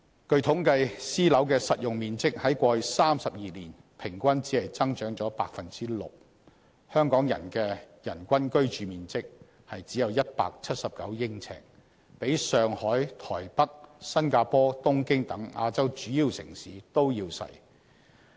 據統計，私樓的實用面積在過去32年平均只增長 6%， 香港的人均居住面積只有179呎，比上海、台北、新加坡、東京等亞洲主要城市都要細。